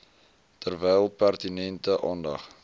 terwyl pertinente aandag